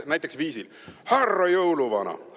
Näiteks viisil : "Härra jõuluvana!